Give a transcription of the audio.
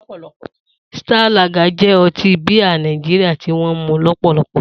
Star Lager jẹ́ ọtí bíà Nàìjíríà tí wọ́n ń mu lọ́pọ̀lọpọ̀.